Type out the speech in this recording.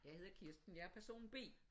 Jeg hedder Kirsten jeg er person B